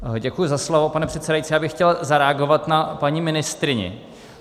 Děkuji za slovo, pane předsedající, já bych chtěl zareagovat na paní ministryni.